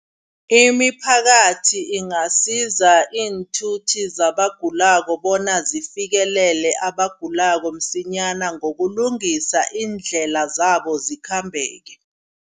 Imiphakathi ingasiza iinthuthi zabagulako bona zifikelele abagulako msinyana ngokulungisa iindlela zabo zikhambeke.